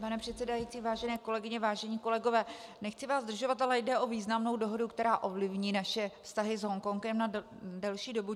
Pane předsedající, vážené kolegyně, vážení kolegové, nechci vás zdržovat, ale jde o významnou dohodu, která ovlivní naše vztahy s Hongkongem na delší dobu.